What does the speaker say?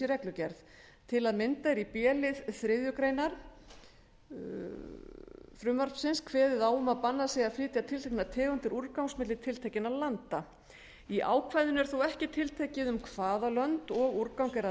reglugerð til að mynda er í b lið þriðju greinar frumvarpsins kveðið á um að bannað sé að flytja tilteknar tegundir úrgangs milli tiltekinna landa í ákvæðinu er þó ekki tiltekið um hvaða lönd og úrgang er að